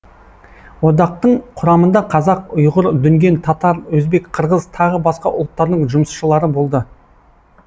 одақтың құрамында қазақ ұйғыр дүнген татар өзбек қырғыз тағы басқа ұлттардың жұмысшылары болды